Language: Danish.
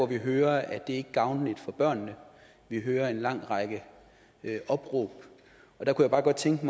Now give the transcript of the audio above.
vi hører at det ikke er gavnligt for børnene vi hører en lang række opråb jeg kunne bare godt tænke